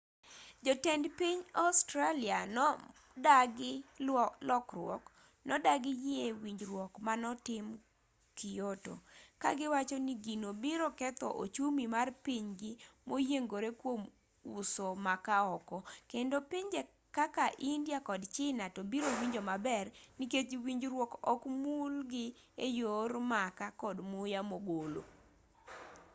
jotend piny australia modagi lokruok nodagi yie winjruok manotim kyoto kagiwachoni gino biro ketho ochumi mar pinygi moyiengore kuom uso makaa oko kendo pinje kaka india kod china to biro winjo maber nikech winjruok ok mul gi eyor makaa kod muya mogolo